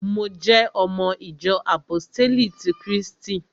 Mo jẹ́ ọmọ ìjọ àpóstélì ti krístì